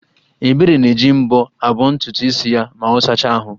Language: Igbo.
Ebere na-eji mbọ̀ abọntutu isi ya ma ọ sacha ahụ́